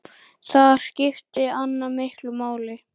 Þar skipti Anna miklu máli.